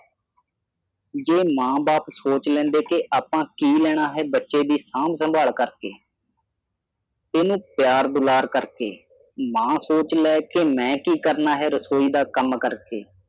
ਜੇ ਮਾਂ ਬਾਪ ਸੋਚ ਲੈਂਦੇ ਕੇ ਆਪਾ ਕੀ ਲੈਣਾ ਹੈ ਬੱਚੇ ਦੀ ਸਾਂਭ-ਸੰਭਾਲ ਕਰਕੇ। ਏਸ ਨੂੰ ਪਿਆਰ ਦੁਲਾਰ ਕਰਕੇ, ਮਾਂ ਸੋਚ ਲਵੇ ਕਿ ਮੈਂ ਕੀ ਕਰਨਾ ਹੈ ਰਸੋਈ ਦਾ ਕੰਮ ਕਰਕੇ।